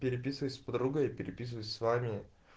переписываюсь с подругой переписываюсь с вами